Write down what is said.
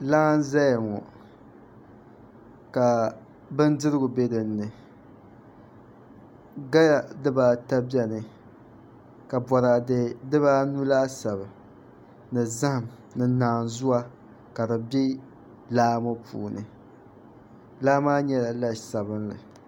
Laa n ʒɛya ŋo ka bindirigu bɛ dinni gala dibaata bɛni ka boraadɛ dibaanu laasabu ni zaham ni naanzuwa ka di bɛ laa ŋo puuni laa maa nyɛla la sabinli